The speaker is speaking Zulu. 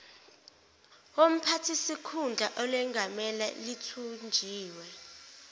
womphathisikhundla olengamele lithunjiwe